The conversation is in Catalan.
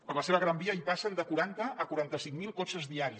per la seva gran via hi passen de quaranta a quaranta cinc mil cotxes diaris